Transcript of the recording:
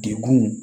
Degun